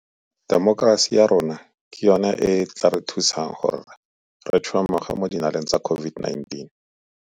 Temokerasi ya rona ke yona e e tla re thusang gore re tšhwemoge mo dinaleng tsa COVID-19.